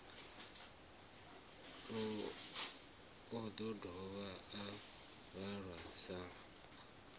o dovha a malwa sa